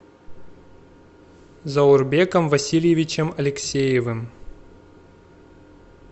заурбеком васильевичем алексеевым